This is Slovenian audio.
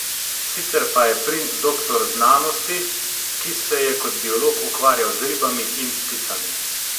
Sicer pa je princ doktor znanosti, ki se je kot biolog ukvarjal z ribami in pticami.